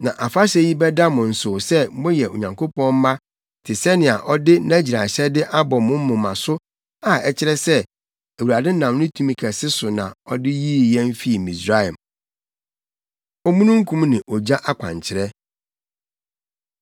Na afahyɛ yi bɛda mo nsow sɛ moyɛ Onyankopɔn mma te sɛnea ɔde nʼagyiraehyɛde abɔ mo moma so a ɛkyerɛ sɛ Awurade nam ne tumi kɛse no so na ɔde yii yɛn fii Misraim.” Omununkum Ne Ogya Akwankyerɛ